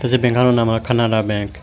se benkano naman Canara benk .